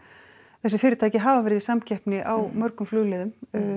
þessi fyrirtæki hafa verið í samkeppni á mörgum flugleiðum